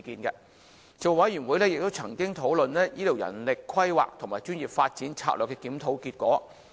事務委員會亦曾經討論醫療人力規劃和專業發展策略的檢討結果。